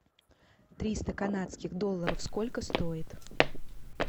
триста канадских долларов сколько стоит